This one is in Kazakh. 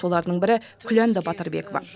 солардың бірі күләнда батырбекова